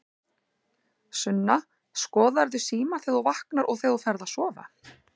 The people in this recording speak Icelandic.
Sunna: Skoðarðu símann þegar þú vaknar og þegar þú ferð að sofa?